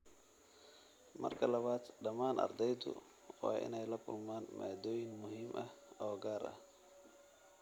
Marka labaad, dhammaan ardaydu waa inay la kulmaan maadooyin muhiim ah oo gaar ah.